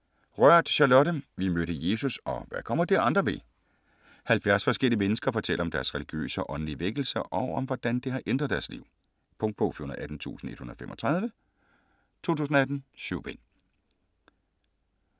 Rørth, Charlotte: Vi mødte Jesus - og hvad kommer det andre ved? 70 forskellige mennesker fortæller om deres religiøse og åndelige vækkelse, og om hvordan det har ændret deres liv. Punktbog 418135 2018. 7 bind.